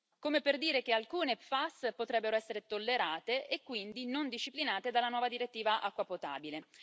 come per dire che alcune PFAS potrebbero essere tollerate e quindi non disciplinate dalla nuova direttiva acqua potabile.